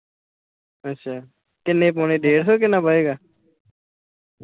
ਅੱਛਾ, ਕਿੰਨੇ ਪਾਉਣੇ ਡੇਡਸੋ ਕਿੰਨਾ ਪਾਏਗਾ ?